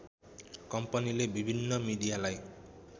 कम्पनीले विभिन्न मिडियालाई